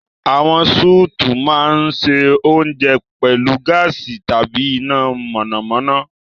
Àwọn sùùtù máa ń se oúnjẹ pẹ̀lú gáàsì tàbí iná mọ̀nàmọ́ná.